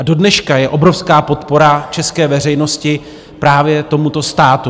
A dodneška je obrovská podpora české veřejnosti právě tomuto státu.